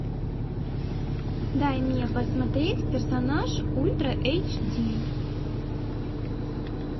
дай мне посмотреть персонаж ультра эйч ди